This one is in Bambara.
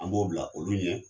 An b'o bila olu ɲɛ.